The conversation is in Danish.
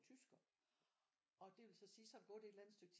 Tysker og det vil så sige så er der gået et eller andet stykke tid